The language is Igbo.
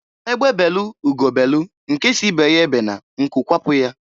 Egbe belu ugo belu nke si ibe ya ebena nku kwapụ ya.